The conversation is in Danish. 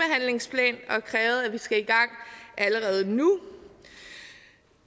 har krævet at vi skal i gang allerede nu